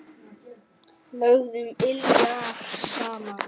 Lögðum iljar saman.